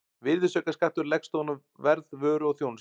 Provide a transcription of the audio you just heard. Virðisaukaskattur leggst ofan á verð vöru og þjónustu.